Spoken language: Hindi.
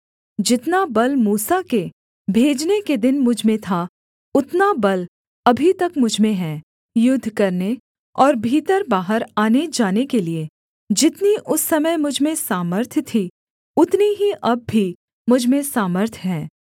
जितना बल मूसा के भेजने के दिन मुझ में था उतना बल अभी तक मुझ में है युद्ध करने और भीतर बाहर आनेजाने के लिये जितनी उस समय मुझ में सामर्थ्य थी उतनी ही अब भी मुझ में सामर्थ्य है